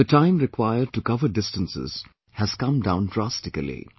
The time required to cover distances has come down drastically